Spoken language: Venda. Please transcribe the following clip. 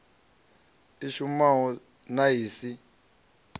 i shumaho na i si